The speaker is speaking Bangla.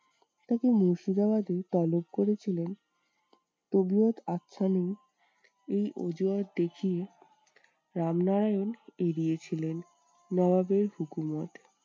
তাকে মুর্শিদাবাদে তলব করেছিলেন এই অজুহাত দেখিয়ে রামনারায়ণ এড়িয়ে ছিলেন। নবাবের হুকুমত